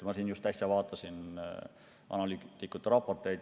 Ma just äsja vaatasin analüütikute raporteid.